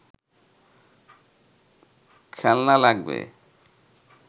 খেলনা লাগবে